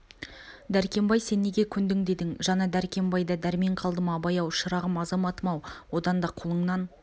дәркембай сен неге көндің дедің жаңа дәркембайда дәрмен қалды ма абай-ау шырағым азаматым-ау одан да қолыңнан